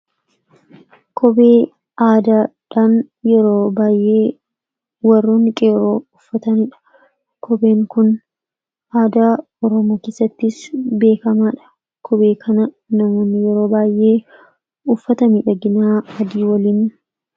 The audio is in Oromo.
Kophee aadaadhan yeroo baayyee warroonni qeerroo uffatanidha. Kopheen Kun aadaa Oromoo keessattis beekamaadha. Kophee kana namoonni yeroo baayyee uffata miidhagina waliin adeema.